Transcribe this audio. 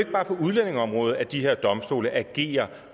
bare på udlændingeområdet at de her domstole agerer